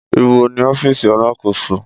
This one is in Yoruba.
Ìbó ní Ọfísì alasoko?